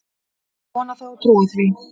Ég vona það og trúi því